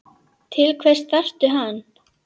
Til hvers þarftu hann?